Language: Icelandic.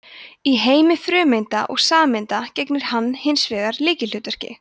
í heimi frumeinda og sameinda gegnir hann hins vegar lykilhlutverki